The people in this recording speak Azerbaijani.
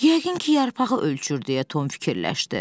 "Yəqin ki, yarpağı ölçür" deyə Tom fikirləşdi.